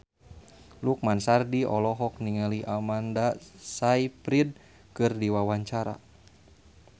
Lukman Sardi olohok ningali Amanda Sayfried keur diwawancara